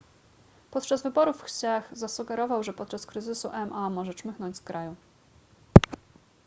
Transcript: podczas wyborów hsieh zasugerował że podczas kryzysu ma może czmychnąć z kraju